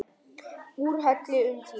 Úrhelli um tíma.